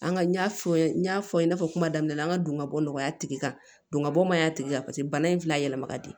An ka n y'a fɔ n ye n y'a fɔ i n'a fɔ kuma daminɛ na an ka donbon nɔgɔya tigi kan don ka bɔ mayiga tigi la paseke bana in filɛ a yɛlɛma ka di